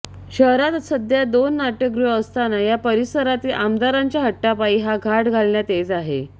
शहरात सध्या दोन नाट्यगृहे असताना या परिसरातील आमदाराच्या हट्टापायी हा घाट घालण्यात येत आहे